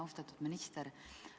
Austatud minister!